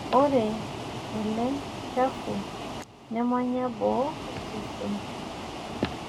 ORE ENLE CHAFU NEMANYA BOO osesen